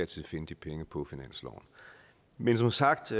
tid finde de penge på finansloven men som sagt